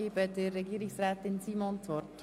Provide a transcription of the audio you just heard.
Ich gebe das Wort Regierungsrätin Simon.